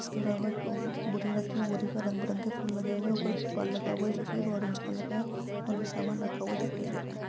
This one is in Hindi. इसके अलावा टू बोरी रखी है| बोरी पर रंग बिरंगे फूल लगे हुए हैं| ऊपर त्रिपाल लगा हुआ है जो की ऑरेंज कलर का है और भी सामान रखा हुआ दिखाई दे रहा है।